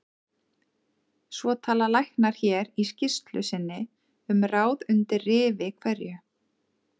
Svo tala læknar hér í skýrslu sinni um ráð undir rifi hverju